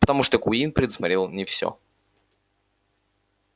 потому что куинн предусмотрел не всё